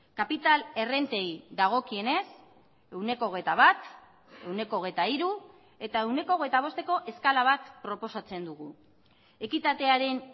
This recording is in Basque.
kapital errentei dagokienez ehuneko hogeita bat ehuneko hogeita hiru eta ehuneko hogeita bosteko eskala bat proposatzen dugu ekitatearen